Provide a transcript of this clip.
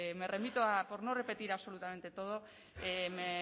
me remito a por no repetir absolutamente todo me